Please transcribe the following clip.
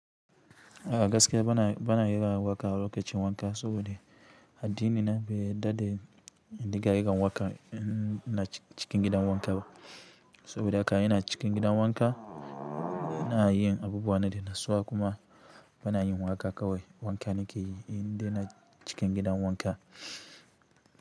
A gaskiya bana, bana yin waƙa lokacin wanka saboda addinin na bai yarda da in dinga yin waƙa ina cikin gidan wanka ba. Saboda haka ina cikin gidan wanka ina yin abubuwa na daina natsuwa kuma bana yin waƙa kawai wanka nake yi inda ina cikin gidan wanka.